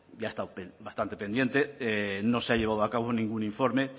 ya ha estado bastante pendiente no se ha llevado a cabo ningún informe